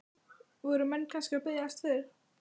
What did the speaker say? Voru menn kannski að biðjast fyrir?